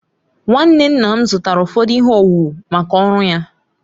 Nwanne nna m zụtara ụfọdụ ihe owuwu maka ọrụ ya.